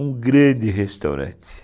Um grande restaurante.